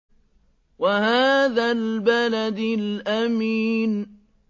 وَهَٰذَا الْبَلَدِ الْأَمِينِ